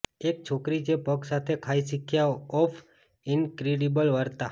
એક છોકરી જે પગ સાથે ખાય શીખ્યા ઓફ ઈનક્રેડિબલ વાર્તા